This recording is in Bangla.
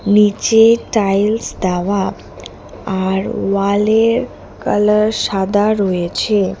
নীচে টাইলস দেওয়া আর ওয়ালের কালার সাদা রয়েছে।